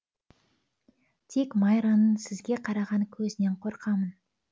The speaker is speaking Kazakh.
тек майраның сізге қараған көзінен қорқамын